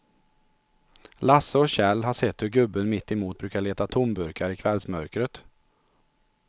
Lasse och Kjell har sett hur gubben mittemot brukar leta tomburkar i kvällsmörkret.